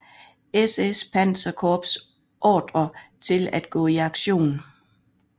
SS panserkorps ordre til at gå i aktion